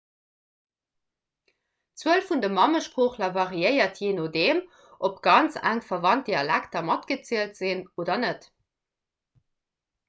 d'zuel vun de mammesproochler variéiert jee nodeem ob ganz enk verwannt dialekter matgezielt sinn oder net